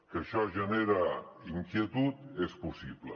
que això genera in quietud és possible